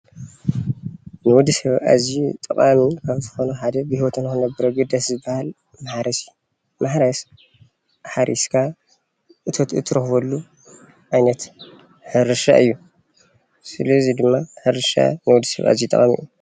ንወዲ ሰብ ኣዝዩ ጠቃሚ ካብ ዝኮነ ሓደ ብሂወቱ ንክነብር ሓደ ኣገዳሲ ዝባሃል ማሕረስ እዩ፡፡ ማሕረስ ሓሪስካ እቶት እትረክበሉ ዓይነት ሕርሻ እዩ፡፡ ስለዚ ድማ ሕርሻ ንወዲ ሰብ ኣዝዩ ጠቃሚ እዩ፡፡